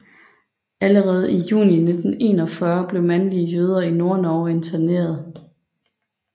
Allerede i juni 1941 blev mandlige jøder i Nordnorge interneret